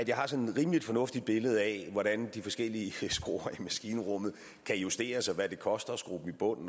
jeg har sådan et rimelig fornuftigt billede af hvordan de forskellige skruer i maskinrummet kan justeres og hvad det koster at skrue dem i bund